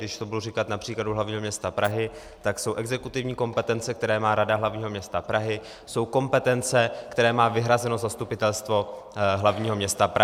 Když to budu říkat na příkladu hlavního města Prahy, tak jsou exekutivní kompetence, která má Rada hlavního města Prahy, jsou kompetence, které má vyhrazeno Zastupitelstvo hlavního města Prahy.